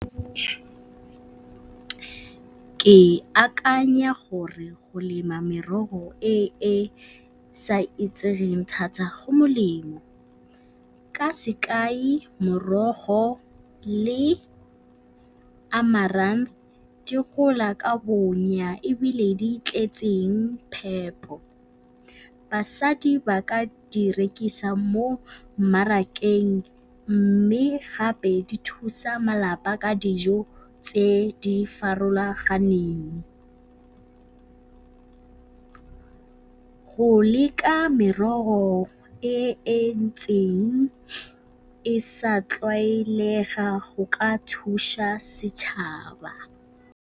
Ke akanya gore go lema merogo e e sa itsegeng thata go molemo, ka sekai morogo le amarang di gola ka bonya ebile di tletseng phepo. Basadi ba ka di rekisa mo mmarakeng mme gape di thusa malapa ka dijo tse di farologaneng. Go leka merogo e e ntseng e sa tlwaelega go ka thuša setšhaba.